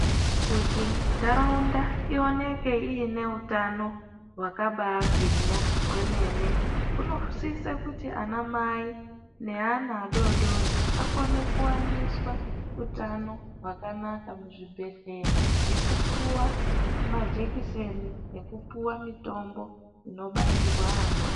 Kuti nharaunda ioneke iine utano hwakabaagwinya kwemene inosise kuti anamai neana adoodori akone kuwaniswa utano hwakanaka muzvibhedhlera nekupiwa majekiseni nekupuwa mitombo inobairwa ana